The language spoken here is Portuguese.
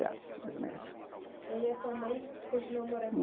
doze anos mais ou E aí a sua mãe continuou morando